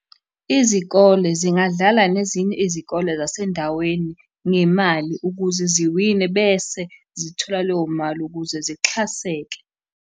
Izikole zingadlala nezinye izikole zasendaweni ngemali ukuze ziwine bese zithola leyo mali ukuze zixhaseke.